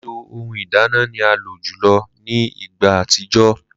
Lilo ohun ìdáná ni a lo julọ ni igba atijọ.